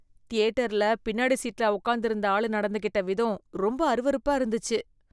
தியேட்டர்ல பின்னாடி சீட்ல உக்காந்து இருந்த ஆளு நடந்துக்கிட்ட விதம் ரொம்ப அருவருப்பா இருந்துச்சு.